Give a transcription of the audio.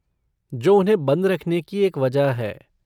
जो उन्हें बंद रखने की एक वजह है!